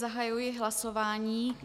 Zahajuji hlasování.